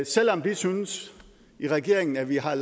selv om vi synes i regeringen at vi har